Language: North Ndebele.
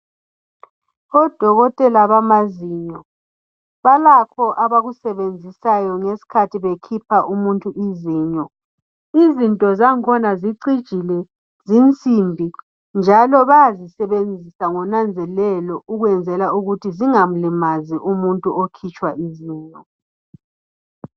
Odokotela bamazinyo balakho abakusebenzisayo nxa bekhipha umuntu izinyo. Izinto zakhona zicjile zisimbi, njalo bazisebenzisa ngonanzelelo ukwenzela ukuthi zingamlimazi umuntu okhitshwa izinyo.